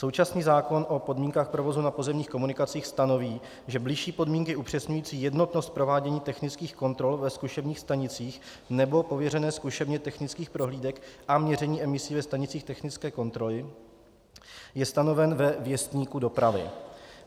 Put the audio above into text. Současný zákon o podmínkách provozu na provozních komunikacích stanoví, že bližší podmínky upřesňující jednotnost provádění technických kontrol ve zkušebních stanicích nebo pověřené zkušebně technických prohlídek a měření emisí ve stanicích technické kontroly je stanoven ve Věstníku dopravy.